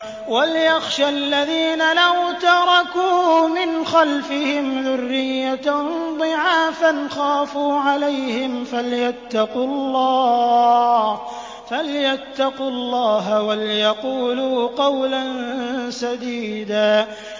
وَلْيَخْشَ الَّذِينَ لَوْ تَرَكُوا مِنْ خَلْفِهِمْ ذُرِّيَّةً ضِعَافًا خَافُوا عَلَيْهِمْ فَلْيَتَّقُوا اللَّهَ وَلْيَقُولُوا قَوْلًا سَدِيدًا